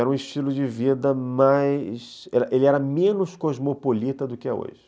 Era um estilo de vida mais... Ele era menos cosmopolita do que é hoje.